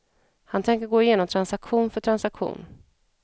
Han tänker gå igenom transaktion för transaktion.